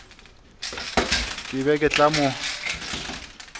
ke be ke tla mo